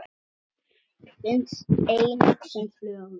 Finnst einnig sem flögur.